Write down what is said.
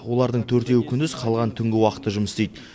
олардың төртеуі күндіз қалғаны түнгі уақытта жұмыс істейді